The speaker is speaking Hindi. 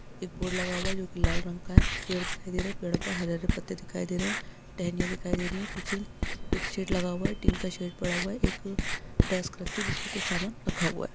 एक बोर्ड लगा हुआ है जो की लाल रंग है पेड़ दिखाई दे रहा है पेड़ो पर हरे हरे पत्ते दिखाई दे रहें है टहनियां दिखाई दे रही है पीछे एक शेड लगा हुआ है स्टील का शेड पड़ा हुआ है एक डेस्क रखी है जिस पर कुछ सामान रखा हुआ।